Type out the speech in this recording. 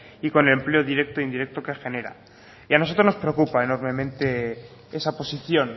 y con empleo directo e indirecto que genera a nosotros nos preocupa enormemente esa posición